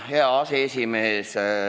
Hea aseesimees!